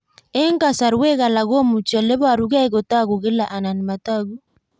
Eng'kasarwek alak komuchi ole parukei kotag'u kila anan matag'u